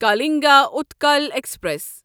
Kalinga Utkal express